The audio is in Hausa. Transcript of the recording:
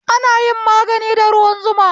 Ana yin magani da ruwan zuma